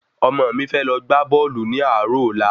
Ọmọ mi fẹ lọ gbá bọ́ọ̀lù ní àárò ọ̀la